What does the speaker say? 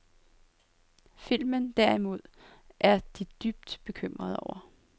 Filmen, derimod, er de dybt bekymrede over.